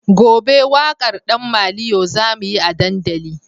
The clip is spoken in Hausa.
Gobe wakar dan maliyo zamuyi a dandali